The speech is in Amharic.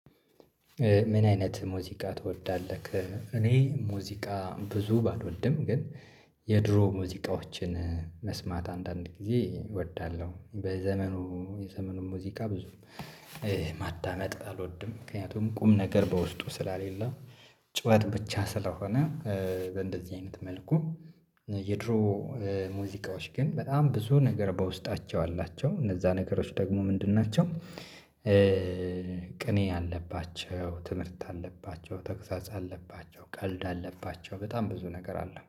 ምን አይነት ሙዚቃ ትወዳለህ? እኔ ሙዚቃ ብዙ ባልወድም ግን የድሮ ሙዚቃዎችን መስማት አንዳንድ ጊዜ እወዳለሁ። በዘመኑ የዘመኑ ሙዚቃ ብዙ ማዳመጥ አልወድም ምክንያቱም ቁም ነገር በውስጡ ስላሌለው። ጩኸት ብቻ ስለሆነ እንደዚህ አይነት መልኩ። የድሮ ሙዚቃዎች ግን በጣም ብዙ ነገር በውስጣቸው አላቸው እነዛ ነገሮች ደግሞ ምንድን ናቸው? ቅኔ አለባቸው ትምህርት አለባቸው ተግሳጽ አለባቸው ቀልድ አለባቸው በጣም ብዙ ነገር አለ